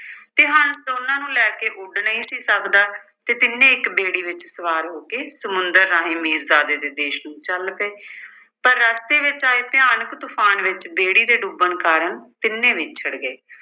ਤੇ ਹੰਸ ਉਹਨਾਂ ਨੂੰ ਲੇੈ ਕੇ ਉੱਡ ਨਹੀਂ ਸੀ ਸਕਦਾ ਤੇ ਤਿੰਨੇ ਇੱਕ ਬੇੜੀ ਵਿੱਚ ਸਵਾਰ ਹੋ ਕੇ ਸਮੁੰਦਰ ਰਾਹੀਂ ਮੀਰਜ਼ਾਦੇ ਦੇ ਦੇਸ਼ ਨੂੰ ਚੱਲ ਪਏ। ਪਰ ਰਸਤੇ ਵਿੱਚ ਆਏ ਭਿਆਨਕ ਤੂਫ਼ਾਨ ਵਿੱਚ ਬੇੜੀ ਦੇ ਡੁੱਬਣ ਕਾਰਨ ਤਿੰਨੇ ਵਿਛੜ ਗਏ।